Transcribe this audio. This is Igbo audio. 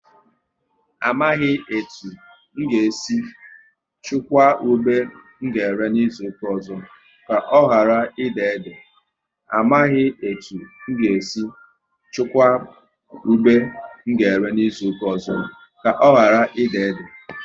Amaghị etu n ga e si chukwa ube m ga ere n'izuka ọzọ, ka ọ ghara ị déédé